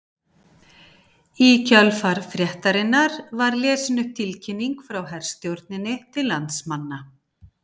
Í kjölfar fréttarinnar var lesin upp tilkynning frá herstjórninni til landsmanna